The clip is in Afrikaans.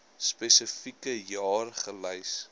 spesifieke jaar gelys